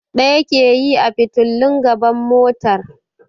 Ɗaya ke yi a fitilun gaban motar.